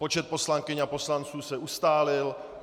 Počet poslankyň a poslanců se ustálil.